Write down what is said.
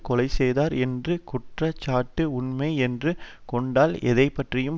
கொலைசெய்தார் என்ற குற்ற சாட்டு உண்மை என்று கொண்டால் எதை பற்றியும்